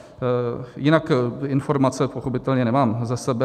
Jinak informace pochopitelně nemám ze sebe.